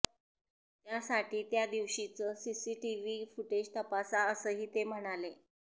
त्यासाठी त्या दिवशीचं सीसीटीव्ही फुटेज तपासा असंही ते म्हणाले